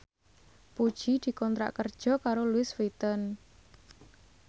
Puji dikontrak kerja karo Louis Vuitton